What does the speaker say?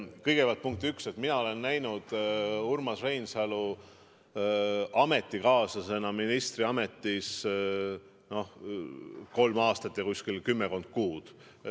Kõigepealt punkt üks: mina olen näinud Urmas Reinsalu ametikaaslasena ministriametis kolm aastat ja kuskil kümmekond kuud.